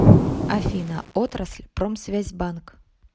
афина отрасль промсвязьбанк